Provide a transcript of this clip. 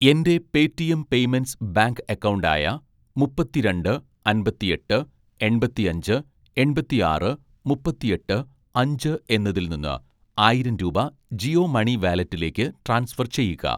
എൻ്റെ Paytm payments bank account ആയ മുപ്പത്തിരണ്ട് അമ്പത്തിഎട്ട് എണ്‍പത്തിഅഞ്ച് എണ്‍പത്തിആറ് മുപ്പത്തിഎട്ട് അഞ്ച് എന്നതിൽ നിന്ന് ആയിരം രൂപ ജിയോ മണി വാലറ്റിലേക്ക് ട്രാൻസ്ഫർ ചെയ്യുക